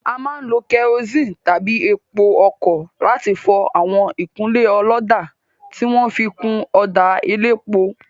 A máa ń lo kerosene tàbí epo ọkọ̀ láti fọ àwọn ìkunlé ọlọ́dà tí wọn fi kun ọ̀dà elépo.